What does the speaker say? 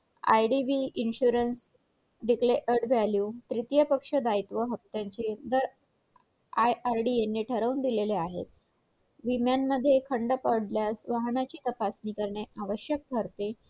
idv insurance declared value त्रितिय पक्ष दायित्व हफ्त्याचे दर ird यांनी ठरवून दिलेले आहेत विम्यामध्ये खंड पडल्यास वाहनांची तपासणी करणे आवश्यक ठरते